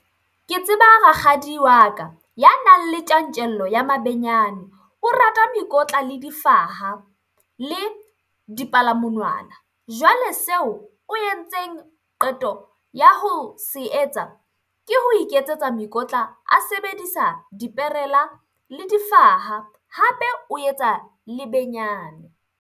Ke tseba rakgadi wa ka, ya nang le tjantjello ya mabenyane. O rata mekotla le difaha le dipalamonwana. Jwale seo o yentseng qeto ya ho se etsa ke ho iketsetsa mekotla a sebedisa diperela le difaha. Hape o etsa lebenyane.